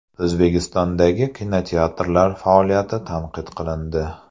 O‘zbekistondagi kinoteatrlar faoliyati tanqid qilindi.